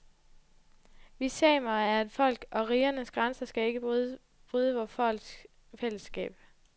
Vi samer er et folk, og rigernes grænser skal ikke bryde vort folks fællesskab.